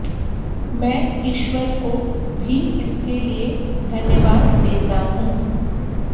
मैं ईश्वर को भी इसके लिए धन्यवाद देता हूं